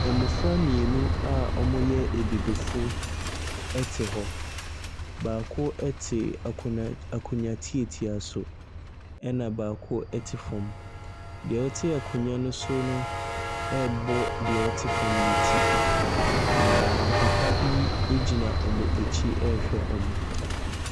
Mmɔfra mmienu a wɔyɛ abibifo ɛte hɔ, baako ɛte akonnwa akonnnwa tiatia so, ɛna baako ɛte fam. Deɛ ɔte akonnwa no so no ɛrebɔ deɛ ɔte fam no ti, na papa bi ɛgyina wɔn akyi ɛrehwɛ wɔn.